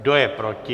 Kdo je proti?